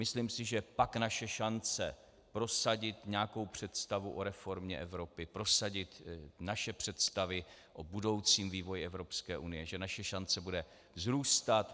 Myslím si, že pak naše šance prosadit nějakou představu o reformě Evropy, prosadit naše představy o budoucím vývoji Evropské unie, že naše šance bude vzrůstat.